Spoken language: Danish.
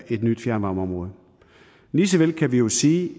et ny fjernvarmeområde lige så vel kan vi jo sige